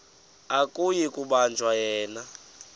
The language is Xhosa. akuyi kubanjwa yena